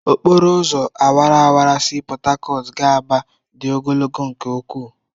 Okporo ụzọ awara awara si Port Harcourt gaa Aba dị ogologo nke ukwu.